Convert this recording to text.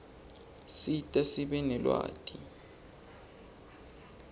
sisita sibe nelwati